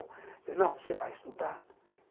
Eu disse, não, você vai estudar.